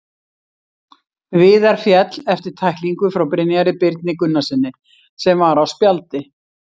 Viðar féll eftir tæklingu frá Brynjari Birni Gunnarssyni sem var á spjaldi.